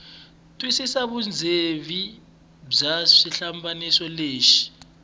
twisisa vundzeni bya xihlambanyiso lexi